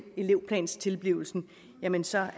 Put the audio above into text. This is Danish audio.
elevplanstilblivelsen er venstre